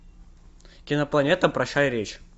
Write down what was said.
кинопланета прощай речь